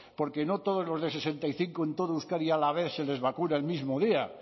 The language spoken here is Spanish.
porque no todos los de sesenta y cinco en todo euskadi a la vez se les vacuna el mismo día